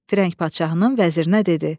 Firəng padşahının vəzirinə dedi: